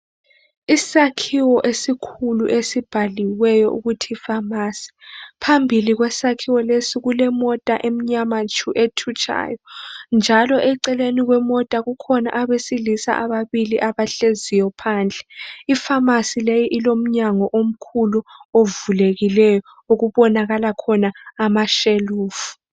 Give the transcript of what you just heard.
Isakhiwo esikhulu esibhaliweyo ukuthi Pharmacy, phambili kwesakhiwo lesi kule mota emnyama tshu ethutshayo njalo eceleni kwemota kukhona abesilisa ababili abahleziyo phandle ipharmacy le ilomnyango omkhulu ovulekileyo okubonakala khona amashelufu.